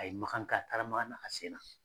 A ye Makan kɛ , a taara Makan na ka sen na.